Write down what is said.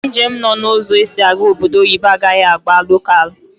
Ndi njem nọ na ụzọ esi aga obodo oyibo agaghi agba lokalu